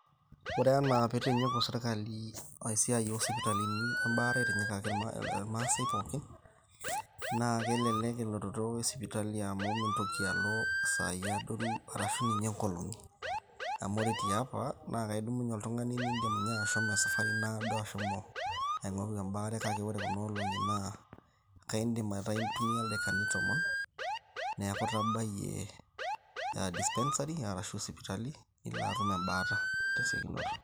Ore enaaa peeitinyiku serkali isipitalini embaare aitinyikaki irmaasai pooki naa kelelek elototo esipitali amu mintoki alo isaai adoru arashuu ninye nkolongi amu ore tiapa naa kedumuye oltung'ani indiim ashomi esapari naado ashomo aing'oru embaare kake ore kuna olong'i naa keidim aitumiya ildaikani tomon neeku itabayie dispensary ashu sipitali nilo. atum embaare tesiokinoto.